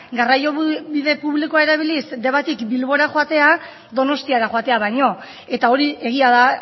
garraio bide publikoa erabiliz debatik bilbora joatea donostiara joatea baino eta hori egia da